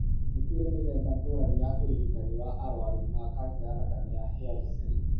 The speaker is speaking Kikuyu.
Nĩ kũrĩ mĩthemba ngũrani ya ũrigitani wa arũaru ma kanca ya thakame ya hairy cell.